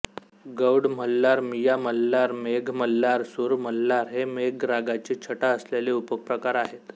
गौडमल्हार मियामल्हार मेघमल्हार सूरमल्हार हे मेघ रागाची छटा असलेले उपप्रकार आहेत